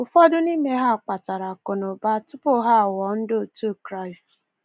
Ụfọdụ n’ime ha kpatara akụnaụba tupu ha aghọọ ndị otu Kraịst.